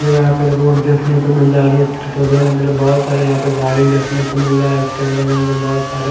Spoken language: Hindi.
जो यहां पे एक रोड देखने को मिल रहा है रोड मुझे बहुत सारे यहां पे गाड़ी देखने को मिल रहा है उसके बगल में मुझे बहुत सारे --